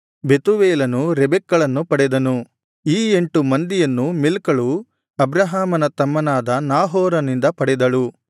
ಬೆತೂವೇಲನು ರೆಬೆಕ್ಕಳನ್ನು ಪಡೆದನು ಈ ಎಂಟು ಮಂದಿಯನ್ನು ಮಿಲ್ಕಳು ಅಬ್ರಹಾಮನ ತಮ್ಮನಾದ ನಾಹೋರನಿಂದ ಪಡೆದಳು